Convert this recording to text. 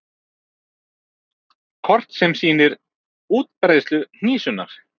Kort sem sýnir útbreiðslusvæði hnísunnar.